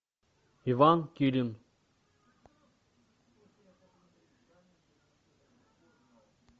иван килин